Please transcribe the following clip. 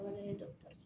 Fana ye dɔgɔtɔrɔso la